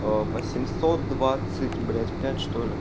восемьсот двадцать блять пять чтоли